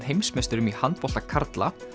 heimsmeisturum í handbolta karla